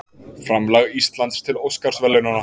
Framlag Íslands til Óskarsverðlaunanna